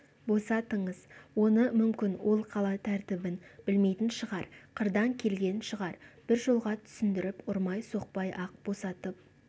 босатыңыз оны мүмкін ол қала тәртібін білмейтін шығар қырдан келген шығар бір жолға түсіндіріп ұрмай-соқпай-ақ босатып